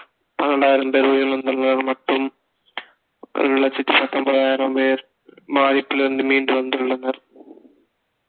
பன்னிரண்டாயிரம் பேர் உயிரிழந்துள்ளனர் மட்டும் ஒரு லட்சத்தி பத்தொன்பதாயிரம் பேர் பாதிப்பில் இருந்து மீண்டு வந்துள்ளனர்